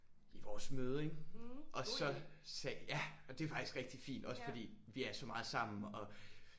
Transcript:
I vores møde ik og så ja og det er faktisk rigtig fint også fordi vi er så meget sammen og